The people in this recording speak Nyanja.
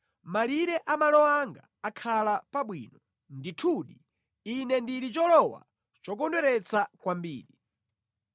Malire a malo anga akhala pabwino; ndithudi, ine ndili cholowa chokondweretsa kwambiri.